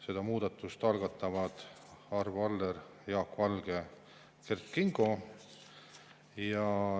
Selle muudatuse algatavad Arvo Aller, Jaak Valge ja Kert Kingo.